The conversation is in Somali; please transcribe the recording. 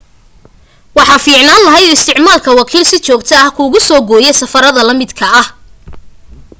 waxa fiicnaan lahayd isticmaalka wakiil si joogto ah kuugu soo gooya safarada la midka ah